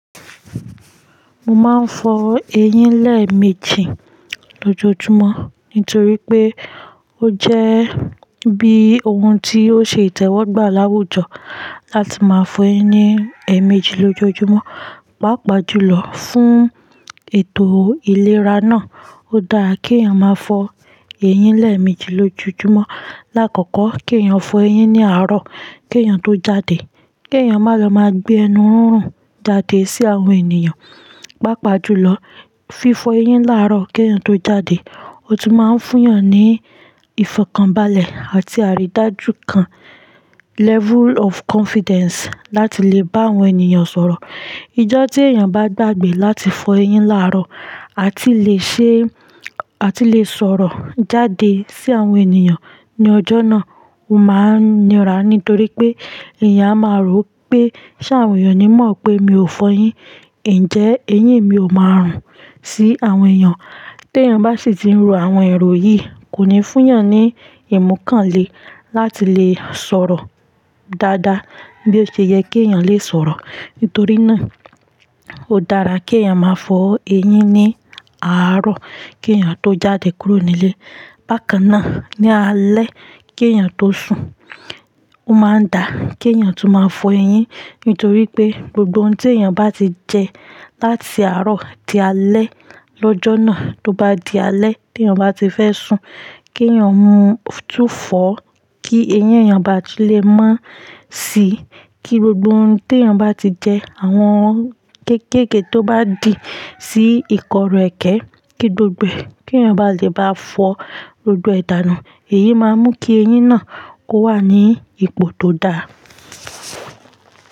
Mo máa ń fọ eyín lẹ́ẹ̀mejì lójoojúmọ́ nítorí pé ó jẹ́ bí ohun tí ó ṣe ìtẹ́wọ́gbà láwùjọ láti máa fọ eyín ní ẹ̀ẹ̀mejì lójoojúmọ́. Mo máa ń fọ eyín lẹ́ẹ̀mejì lójoojúmọ́ nítorí pé ó jẹ́ bí ohun tí ó ṣe ìtẹ́wọ́gbà láwùjọ láti máa fọ eyín ní ẹ̀ẹ̀mejì lójoojúmọ́. Láàkọ́kọ́ kí èèyàn fọ eyín ní àárọ̀ kí èèyàn tó jáde. Kí èèyàn má lọ máa gbé ẹnu rúnrún jáde sí àwọn ènìyàn. Pápá jùlọ, fífọ eyín láàárọ̀ kí èèyàn tó jáde, ó tún máa ń fún èèyàn ní ìfọ̀kànbalẹ̀ àti àrídájú kan, level of confidence láti lè bá àwọn ènìyàn sọ̀rọ̀. Ijọ́ tí èèyàn bá dàgbè láti fọ eyín láàárọ̀, a ti lè ṣe, a ti lè sọ̀rọ̀ jáde sí àwọn ènìyàn ní ọjọ́ náà, ó máa ń nira nítorí pé èèyàn a máa rò pé ṣé àwọn èèyàn ní mọ̀ pé mi ò fọ eyín, ǹjẹ́ eyín mi ò máa rùn sí àwọn èèyàn? Tí èèyàn bá sì ti ń ro àwọn èrò yìí kò ní fún èèyàn ní ìmọ̀ kàn lè láti lè sọ̀rọ̀ dáadáa bí ó ṣe yẹ kí èèyàn lè sọ̀rọ̀. Nítorí náà ó dára kí èèyàn máa fọ eyín ní àárọ̀ kí èèyàn tó jáde kúrò nílé. Bákan náà ní alẹ́ kí èèyàn tó sùn, ó máa dà kí èèyàn tún máa fọ eyín nítorí pé gbogbo ohun tí èèyàn bá ti jẹ láti àárọ̀ di alẹ́ lọ́jọ́ náà tó bá di alẹ́ tí èèyàn bá ti fẹ́ sùn kí èèyàn mú túfọ̀ kí eyín èèyàn bá ti lè má sì í kí gbogbo ohun tí èèyàn bá ti jẹ àwọn kéékèèké tó bá dì sí ìkọrù ẹkẹ kí gbogbo ẹ-- kí èèyàn bá lè bá fọ gbogbo ẹ̀ da nu, èyí máa mú kí eyín náà ó wà ní ipò tó dáa.